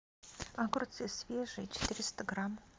огурцы свежие четыреста грамм